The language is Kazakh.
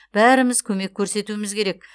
бәріміз көмек көрсетуіміз керек